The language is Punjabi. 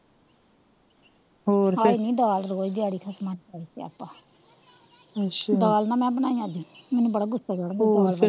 ਹੋਰ ਫਿਰ ਹਾਏ ਨੀ ਦਾਲ ਰੋਜ ਦਿਹਾੜੀ ਖਸਮਾਂ ਨੂੰ ਖਾਏ ਸਿਆਪਾ ਅੱਛਾ ਦਾਲ ਨਾਂ ਮੈ ਬਣਾਈ ਅੱਜ ਮੈਂਨੂੰ ਬੜਾ ਗੁੱਸਾ ਚੱੜਦਾ ਹੋਰ ਫੇਰ,